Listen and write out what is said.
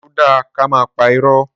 Sọ dà kàmá pà írọ?